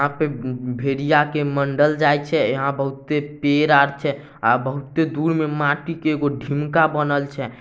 भेड़िया के मंडल जाय छै। यहां पे बहुते पेड़ आर छै। अ बहुते दूर में माटी के ढूमका बनल छै।